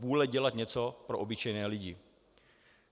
Vůle dělat něco pro obyčejné lidi.